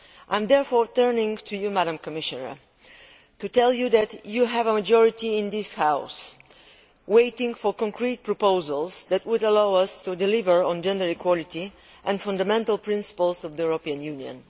I am therefore turning to you, Madam Commissioner, to tell you that you have a majority in this House waiting for concrete proposals which would allow us to deliver on gender equality and the fundamental principles of the European Union.